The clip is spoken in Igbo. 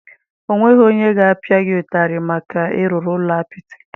Ọ nweghị onye ga-apịa gị ụtarị maka ịrụrụ ụlọ apịtị?